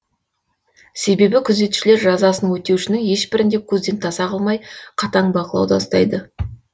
себебі күзетшілер жазасын өтеушінің ешбірін де көзден таса қылмай қатаң бақылауда ұстайды